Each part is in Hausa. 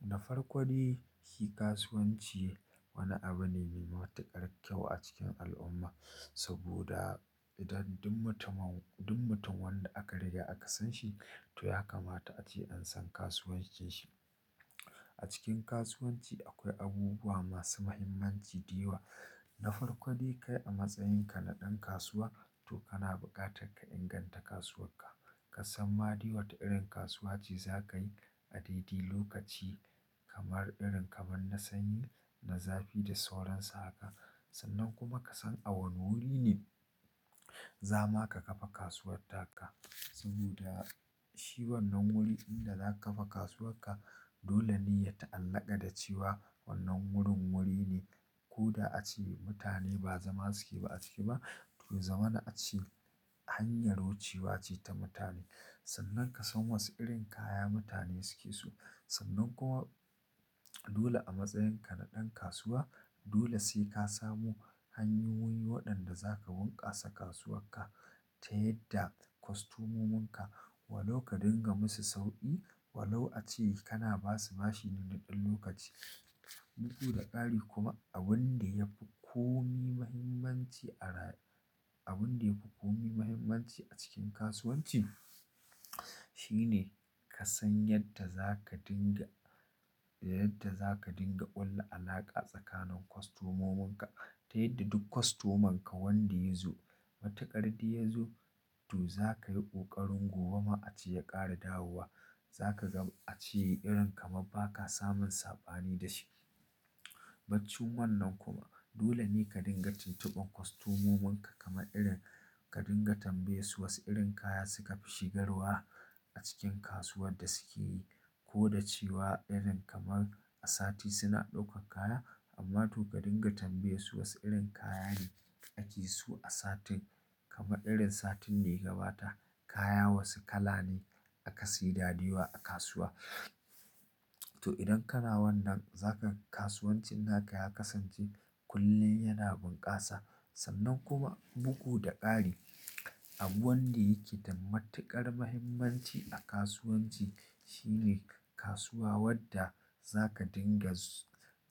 Da farko dai shi kasuwanci wani abu ne mai matuƙar kyau a cikin al'umma. Saboda idan duk mutum, duk mutum wanda aka riga aka san shi to ya kamata a ce an san kasuwancin shi. A cikin kasuwanci akwai abubuwa masu mahimmanci da yawa. Na farko dai kai a matsayin ka na ɗan kasuwa to kana buƙatar ka inganta kasuwar ka. Ka san ma dai wa ta irin kasuwa ce za ka yi a daidai lokaci kamar irin kamar na sanyi, na zafi da sauran sa haka. Sannan kuma ka san a wane wuri ne za ma ka kafa kasuwar taka. Saboda shi wannan wuri ɗin da za ka kafa kasuwar ka dole ne ya ta'allaka da cewa wannan wurin wuri ne. Ko da ace mutane ba zama suke ba a ciki ba to ya zama na a ce hanyar wucewa ce ta mutane. Sannan ka san wane irin kaya mutane suke so sannan kuma dole a matsayin ka na ɗan kasuwa dole sai ka samu hanyoyin waɗanda za ka bunkasa kasuwar ka ta yadda kwastomominka walau ka dinga musu sauƙi walau a ce kana ba su bashi na ɗan lokaci. Bugu da ƙari kuma abun da ya fi komi mahimmanci a rayuwa abun da ya fi komi mahimmanci a cikin kasuwanci shine ka san yadda za ka dinga, yadda za ka dinga ƙulla alaƙa tsakanin kwastomominka ta yadda duk kwastomonka wanda ya zo, matuƙar da ya zo to za ka yi ƙoƙarin gobe ma a ce ya ƙare dawowa za ka ga a ce irin kamar baka samun saɓani da shi. Baccin wannan kuma dole ne ka dinga tuntube kwastomominka kamar irin ka dinga tambaye su wasu irin kaya suka fi shigarwa a cikin kasuwar da suke yi. Ko da cewa irin kamar a sati suna ɗaukar kaya amma to ka dinga tambaye su was irin kaya ne ake so a satin kamar irin satin da ya gabata kaya wasu kala ne aka sayi daɗewa a kasuwa. To idan kana wannan zaka ga kasuwancin naka ya kasance kullum yana bunkasa. Sannan kuma bugu da ƙari abu wanda yake da matuƙar mahimmanci a kasuwanci shine kasuwa wadda za ka dinga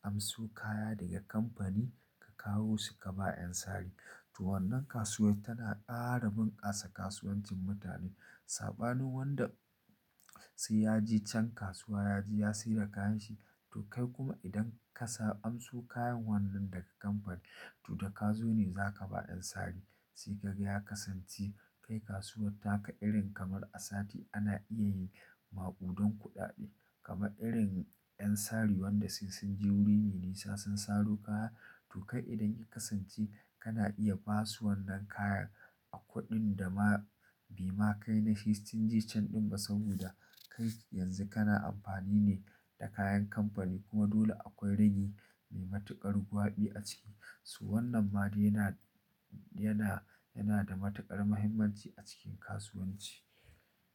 amso kaya daga kamfani ka kawo su ka ba ƴan sari. To wannan kasuwa tana ƙara bunkasa kasuwancin mutane. Saɓanin wanda sai ya je can kasuwa ya je ya sayar kayan shi to kai kuma idan ka sa amso kayan wannan daga kamfani to da ka zo ne za ka ba ƴan sari. Sai kaga ya kasance kai kasuwar taka irin kamar a sati ana iya yi maƙudan kuɗaɗe kamar irin ƴan sari wanda sun, sun je wuri ne nisa sun saro kaya to kai idan ya kasance kana iya basu wannan kayan a kuɗin da ma bai ma kai na kashi sittin cikin ɗari ɗin ba saboda kai yanzu kana amfani ne da kayan kamfani kuma dole akwai rami mai matuƙar gwaɓi a ciki. Su wannan ma yana, yana, yana da matuƙar mahimmanci a cikin kasuwanci.